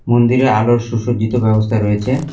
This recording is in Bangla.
মন্দিরে আলোর সুসজ্জিত ব্যবস্থা রয়েছে।